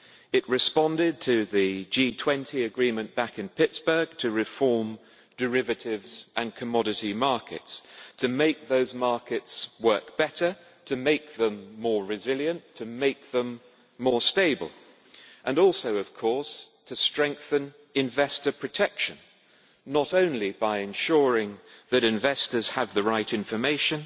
It responded to the G20 agreement back in Pittsburgh to reform derivatives and commodity markets, to make those markets work better, to make them more resilient, to make them more stable and also of course to strengthen investor protection, not only by ensuring that investors have the right information,